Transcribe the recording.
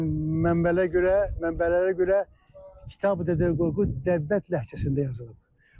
Mənbəyə görə, mənbələrə görə Kitabi-Dədə Qorqud Dərbənd ləhcəsində yazılıb.